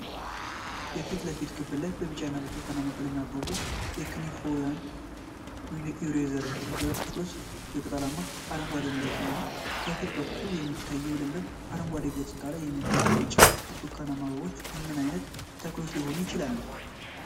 የፊት ለፊት ክፍል ላይ በቢጫና ብርቱካናማ ቀለም ያበቡ የክኒፎፊያወይም ዬሬዘር ተክሎች በቅጠላማ አረንጓዴ መሬት ላይ ነው። ከፊት በኩል በሚታየው ለምለም አረንጓዴ ገጽታ ላይ የሚገኙት ቢጫ እና ብርቱካናማ አበባዎች ምን አይነት ተክሎች ሊሆኑ ይችላሉ?